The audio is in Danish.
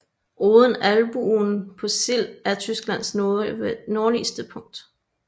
Odden Albuen på Sild er Tysklands nordligste punkt